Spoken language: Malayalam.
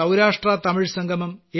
സൌരാഷ്ട്രതമിഴ് സംഗമം